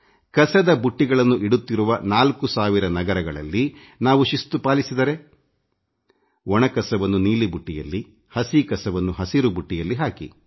ಕಸದ ಬುಟ್ಟಿಗಳನ್ನು ಇಡುತ್ತಿರುವ ನಾಲ್ಕು ಸಾವಿರ ನಗರಗಳಲ್ಲಿ ನಾವು ಶಿಸ್ತು ಪಾಲಿಸಿದರೆ ಒಣ ಕಸವನ್ನು ನೀಲಿ ಬುಟ್ಟಿಯಲ್ಲಿ ಹಸಿ ಕಸವನ್ನು ಹಸಿರು ಬುಟ್ಟಿಯಲ್ಲಿ ಹಾಕಿ